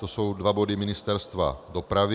To jsou dva body Ministerstva dopravy.